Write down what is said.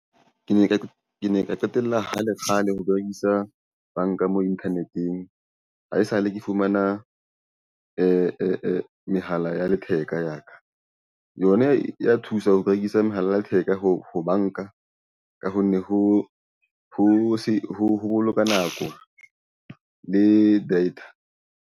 Ke ne ke kene ka qetella kgale kgale ho berekisa banka mo internet-eng ha esale ke fumana mehala ya letheka ya ka yona e ya thusa ho rekisa mohala theka ho banka ka ho nne ho boloka nako le data.